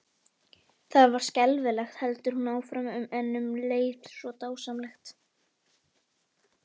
Það var skelfilegt, heldur hún áfram, en um leið svo dásamlegt.